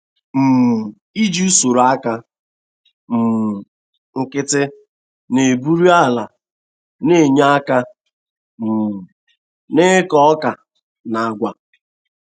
um Iji usoro aka um nkịtị na-egburi ala na-enye aka um n'ịkọ ọka na agwa.